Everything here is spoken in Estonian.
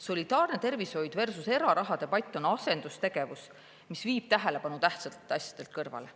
Solidaarne tervishoid versus eraraha debatt on asendustegevus, mis viib tähelepanu tähtsatelt asjadelt kõrvale.